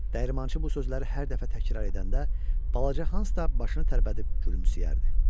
Dəyirmançı bu sözləri hər dəfə təkrar edəndə, balaca Hans da başını tərpədib gülümsəyərdi.